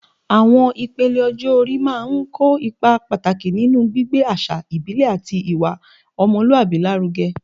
Awọn ipele ọjọ-ori máa ń kó ipa pàtàkì nínú gbígbé àṣà ìbílẹ̀ àti ìwà ọmọlúwàbí lárugẹ